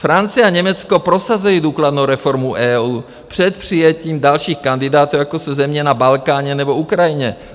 Francie a Německo prosazují důkladnou reformu EU před přijetím dalších kandidátů, jako jsou země na Balkáně nebo Ukrajině.